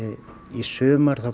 í sumar